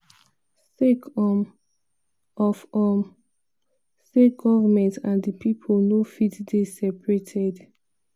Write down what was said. "sake um of um say govment and di pipo no fit dey separated."